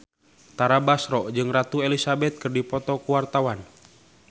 Tara Basro jeung Ratu Elizabeth keur dipoto ku wartawan